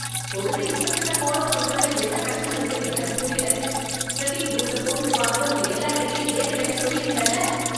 கொடுத்த இன்ஸ்ட்ரக்ஷன ஃபாலோ பண்றதுல என்ன கஷ்டம் இருக்குனு எனக்கு புரியல, டிரெக்கிங் பூட்ஸ போட்டுட்டு வாங்கன்னு உங்க எல்லார்கிட்டயும் ஏற்கனவே சொல்லியிருந்தேன்ல.